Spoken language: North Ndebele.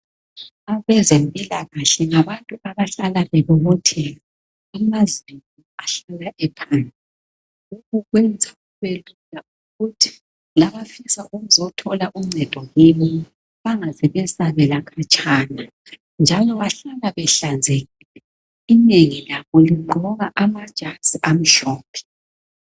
Abezempilakahle ngabantu abahlala bebobotheka. Amazinyo ahlala ephandle. Lokhu kwenza ukuthi labafisa ukuotthola uncedo kubo bangaze besabela katshana. Njalo bahlala behlanzekile. Inengi labo ligqoka amajazi amhlophe.